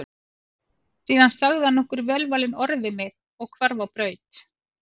Síðan sagði hann nokkur velvalin orð við mig og hvarf á braut.